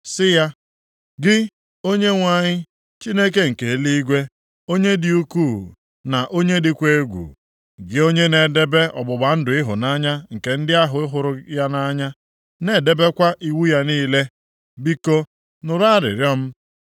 si ya: “Gị, Onyenwe anyị Chineke nke eluigwe, onye dị ukwu na onye dịkwa egwu; gị onye na-edebe ọgbụgba ndụ ịhụnanya nke ndị ahụ hụrụ ya nʼanya na-edebekwa iwu ya niile. Biko nụrụ arịrịọ m.